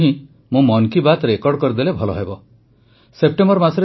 ତେଣୁ ମୁଁ ଭାବିଲି ଯେ ଆମେରିକା ଯିବା ପୂର୍ବରୁ ହିଁ ମୁଁ ମନ୍ କି ବାତ୍ ରେକର୍ଡ଼ କରିଦେଲେ ଭଲହେବ